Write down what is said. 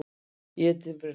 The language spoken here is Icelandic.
Ég er dimmrödduð.